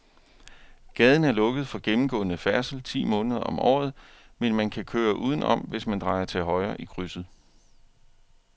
Gaden er lukket for gennemgående færdsel ti måneder om året, men man kan køre udenom, hvis man drejer til højre i krydset.